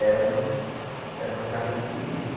Era uma era uma casa muito bonita.